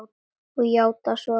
Og játað svo.